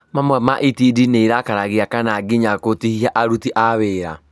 Mamwe ma itindiĩ nĩirakaragia kana nginya gũtihia aruti a wĩra